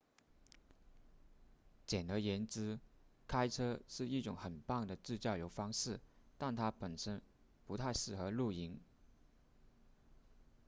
简而言之开车是一种很棒的自驾游方式但它本身不太适合露营